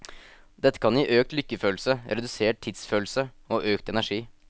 Dette kan gi økt lykkefølelse, redusert tidsfølelse og økt energi.